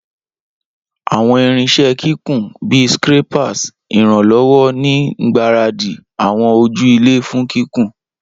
Awọn irinṣẹ kikun, bi scrapers, iranlọwọ ni ngbaradi awọn oju-ilẹ fun kikun.